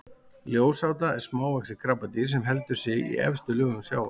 ljósáta er smávaxið krabbadýr sem heldur sig í efstu lögum sjávar